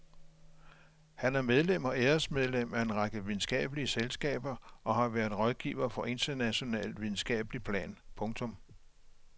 Han er medlem og æresmedlem af en række videnskabelige selskaber og har været rådgiver på internationalt videnskabeligt plan. punktum